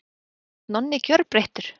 Mér fannst Nonni gjörbreyttur.